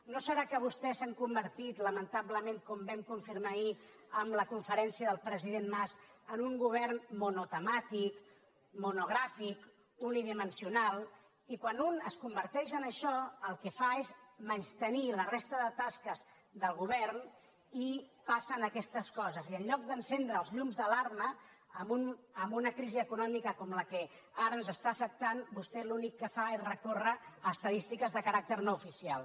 no serà que vostès s’han convertit lamentablement com vam confirmar ahir amb la conferència del president mas en un govern monotemàtic monogràfic unidimensional i quan un es converteix en això el que fa és menystenir la resta de tasques del govern i passen aquestes coses i en lloc d’encendre els llums d’alarma amb una crisi econòmica com la que ara ens està afectant vostè l’únic que fa és recórrer a estadístiques de caràcter no oficial